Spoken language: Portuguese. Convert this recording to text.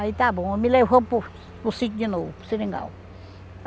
Aí está bom, me levou para o para o sítio de novo, para o seringal.